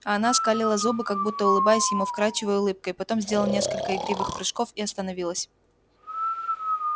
а она скалила зубы как будто улыбаясь ему вкрадчивой улыбкой потом сделала несколько игривых прыжков и остановилась